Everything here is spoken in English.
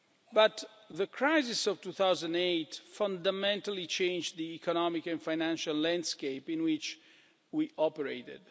But the crisis of 2008 fundamentally changed the economic and financial landscape in which we operated.